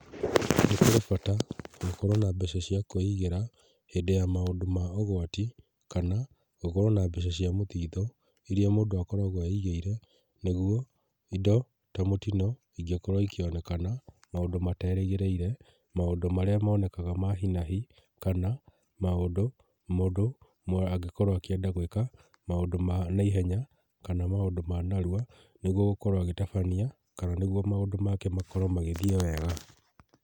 Nĩ kũrĩ bata gũkorwo na mbeca cia kũigĩra hĩndĩ ya maũndũ ma ũgwati, kana gũkorwo ma mbeca cia mũthitho, iria mũndũ akoragwo eigĩire, nĩguo indo ta mũtino ingĩkorwo ikĩonekana maũndũ materĩgĩrĩire, maũndũ marĩa monekaga ma hinahi kana maũndũ mũndũ angĩkorwo akĩenda gwĩka, maũndũ ma naihenya kana maũndu ma narua nĩ guo gũkorwo agĩtabania kana nĩguo maũndũ make makorwo magĩthiĩ wega.